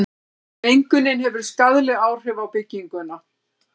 mengunin hefur skaðleg áhrif á bygginguna